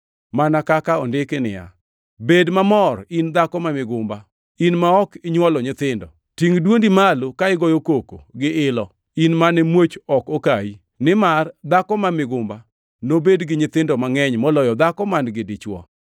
mana kaka ondiki ni: “Bed mamor, in dhako ma migumba, in ma ok inywol nyithindo; tingʼ dwondi malo ka igoyo koko gi ilo, in mane muoch ok okayi; nimar dhako ma migumba nobed gi nyithindo mangʼeny, moloyo dhako man-gi dichwo.” + 4:27 \+xt Isa 54:1\+xt*